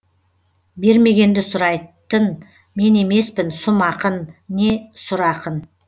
бермегенді сұрайтын мен емеспін сұм ақын не сұр ақын